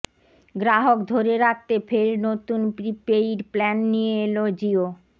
গ্রাহক ধরে রাখতে ফের নতুন প্রিপেইড প্ল্যান নিয়ে এল জিও